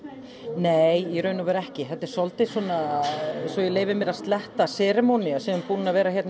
nei í raun og veru ekki þetta er svolítil svo ég leyfi mér að sletta seremónía sem er búin að vera hérna í